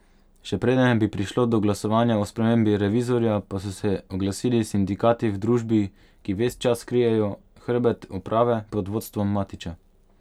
Še preden bi prišlo do glasovanja o spremembi revizorja, pa so se oglasili sindikati v družbi, ki ves čas krijejo hrbet uprave pod vodstvom Matiča.